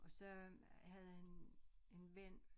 Og så havde han en ven